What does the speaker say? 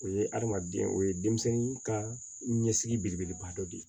O ye adamaden o ye denmisɛnnin ka ɲɛsigi belebeleba dɔ de ye